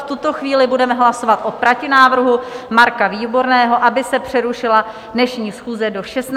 V tuto chvíli budeme hlasovat o protinávrhu Marka Výborného, aby se přerušila dnešní schůze do 16.30 hodin.